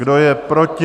Kdo je proti?